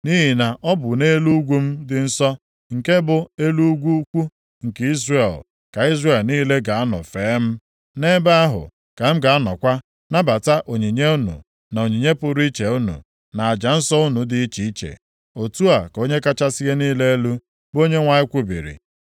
Nʼihi na ọ bụ nʼelu ugwu m dị nsọ, nke bụ elu ugwu ukwu nke Izrel, ka Izrel niile ga-anọ fee m. Nʼebe ahụ ka m ga-anọkwa nabata onyinye unu na onyinye pụrụ iche unu, na aja nsọ unu dị iche iche. Otu a ka Onye kachasị ihe niile elu, bụ Onyenwe anyị kwubiri.